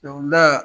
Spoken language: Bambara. Dɔnkilida